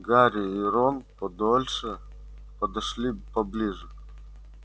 гарри и рон подольше подошли поближе